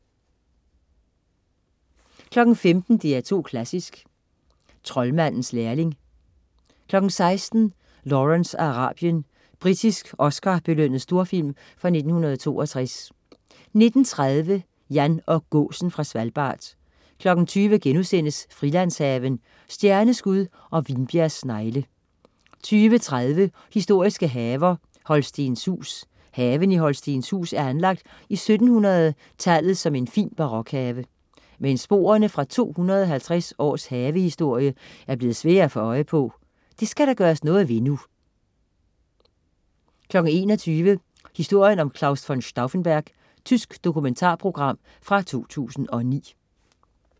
15.00 DR2 Klassisk: Troldmandens lærling 16.00 Lawrence af Arabien. Britisk Oscar-belønnet storfilm fra 1962 19.30 Jan og gåsen fra Svalbard 20.00 Frilandshaven. Stjerneskud og vinbjergsnegle* 20.30 Historiske haver. Holstenshuus. Haven i Holstenshuus er anlagt i 1700 tallet som en fin barokhave. Men sporene fra 250 års havehistorie er blevet svære at få øje på. Det skal der gøres noget ved nu 21.00 Historien om Claus von Stauffenberg. Tysk dokumentarprogram fra 2009